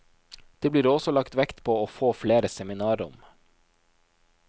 Det blir også lagt vekt på å få flere seminarrom.